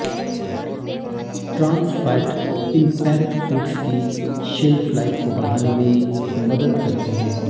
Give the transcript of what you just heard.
trans fat in packed foods की shelf life को बढ़ाने में मदद करते हैं